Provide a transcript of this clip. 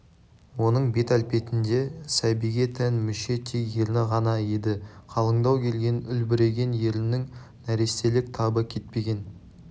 оның бет-әлпетінде сәбиге тән мүше тек ерні ғана еді қалыңдау келген үлбіреген еріннен нәрестелік табы кетпеген